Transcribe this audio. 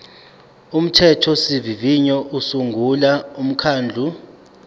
umthethosivivinyo usungula umkhandlu